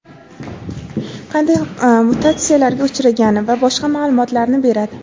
qanday mutatsiyalarga uchragani va boshqa ma’lumotlarni beradi.